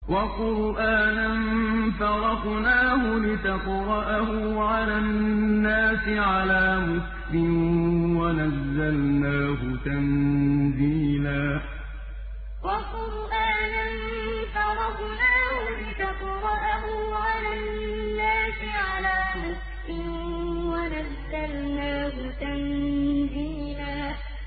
وَقُرْآنًا فَرَقْنَاهُ لِتَقْرَأَهُ عَلَى النَّاسِ عَلَىٰ مُكْثٍ وَنَزَّلْنَاهُ تَنزِيلًا وَقُرْآنًا فَرَقْنَاهُ لِتَقْرَأَهُ عَلَى النَّاسِ عَلَىٰ مُكْثٍ وَنَزَّلْنَاهُ تَنزِيلًا